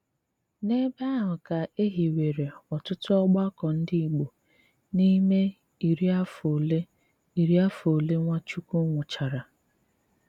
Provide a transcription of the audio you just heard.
N’ebe áhụ́ kà é híwéré ótụ́tù ọ́gbàkọ́ ndí Ìgbò n’ímè írí àfọ́ ólé írí àfọ́ ólé Nwáchúkwú nwùchárà.